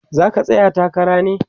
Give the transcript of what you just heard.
zaka tsaya takara ne?